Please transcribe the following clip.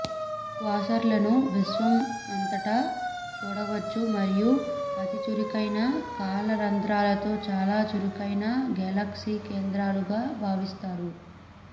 క్వాసర్లను విశ్వం అంతటా చూడవచ్చు మరియు అతి చురుకైన కాల రంధ్రాలతో చాలా చురుకైన గెలాక్సీ కేంద్రకాలుగా భావిస్తారు